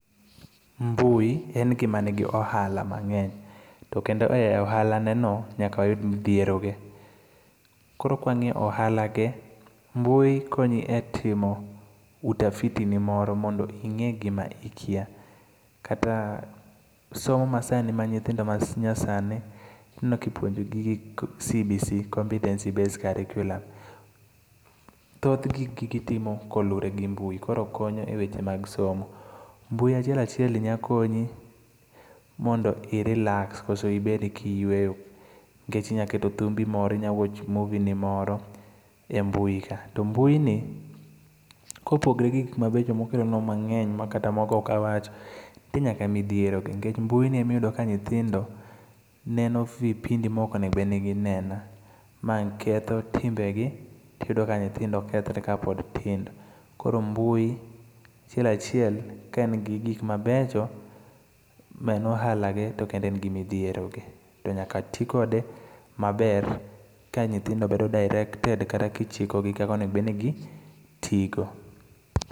Mbui en gima nigi ohala mang'eny. To kendo e ohala ne no, nyaka oyud midhiero ge. Koro kwang'iyo ohala ge, mbui konyi e timo utafiti ni moro mondo ing'e gima ikiya. Kata somo ma sani ma nyithindo ma nyasani, aneno kipuonjo gi gik CBC-competency based curriculum. Thoth gigi itimo koluwore gi mbui. Koro konyo e weche mag somo. Mbui achiel achiel ni nya konyi mondo i relax koso ibed gi yueyo. Nikech inyaketo dhumbi moro, inya watch movie ni moro e mbui ka. To mbui ni, kopogore gi gik mabecho mokelo nwa mang'eny ma kata moko okawacho, nitie nyaka midhiero ge. Nikech mbui ni ema iyudo ka nyithindo neno vipindi ma ok onego bed ni gineno. Mae ketho timbe gi tiyudo ka nyithindo kethre ka pod tindo. Koro mbui achiel achiel ka en gi gik mabecho ma en ohala ge, to kendo en gi midhiero ge. To nyaka ti kode maber ka nyithindo bedo directed kata kichiko gi kaka onego bed ni gitiyo go.